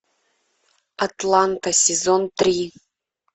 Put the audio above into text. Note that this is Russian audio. атланта сезон три